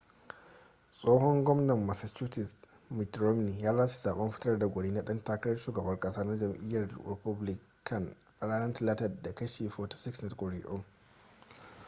tsohon gwamnan massachusetts mitt romney ya lashe zaɓen fitar da gwani na ɗan takarar shugaban ƙasa na jam'iyyar republican a ranar talata da kashi 46 na kuri'un